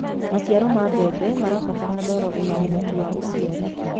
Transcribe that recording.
maciaro ma mbembe marabatara ndoro ina uhoti wa uciari